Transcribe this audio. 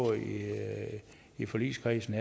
i forligskredsen